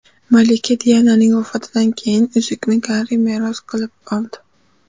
Malika Diananing vafotidan keyin uzukni Garri meros qilib oldi.